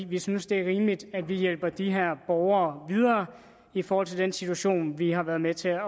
vi synes det er rimeligt at vi hjælper de her borgere videre i forhold til den situation vi har været med til